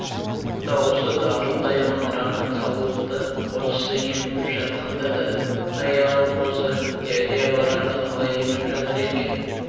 даусы дарылдай маңыраған саулықты қозысы еміп жатқанда да әй анау қозы дядя баранды қалай еміп жатыр екен